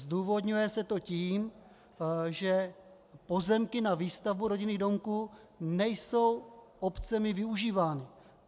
Zdůvodňuje se to tím, že pozemky na výstavbu rodinných domků nejsou obcemi využívány.